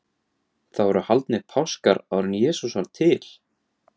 Það voru haldnir páskar áður en Jesús var til?